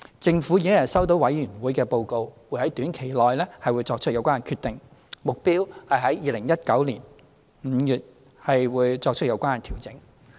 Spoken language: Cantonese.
政府已收到最低工資委員會的報告，會在短期內作出有關決定，目標是在2019年5月起作出有關調整。